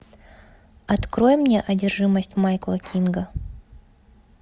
открой мне одержимость майкла кинга